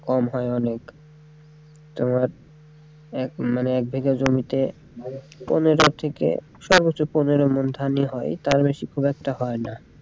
কম হয় অনেক তোমার মানে এক বিঘা জমিতে পনেরো থেকে সারা বছর পনেরো ওমন ধানই হয় তার বেশি খুব একটা হয়না।